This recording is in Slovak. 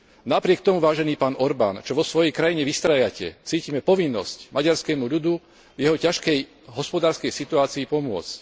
Napriek tomu, vážený pán Orbán, čo vo svojej krajine vystrájate, cítime povinnosť maďarskému ľudu v jeho ťažkej hospodárskej situácii pomôcť.